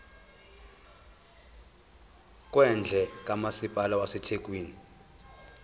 kwendle kamasipala wasethekwini